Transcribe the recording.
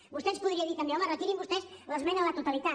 vostè ens podria dir també home retirin vostès l’esmena a la totalitat